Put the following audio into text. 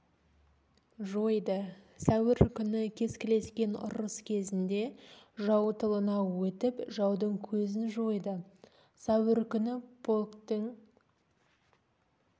жойды сәуір күні кескілескен ұрыс кезінде жау тылына өтіп жаудың көзін жойды сәуір күні полктің